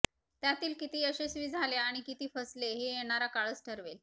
त्यातील किती यशस्वी झाले आणि किती फसले हे येणारा काळच ठरवेल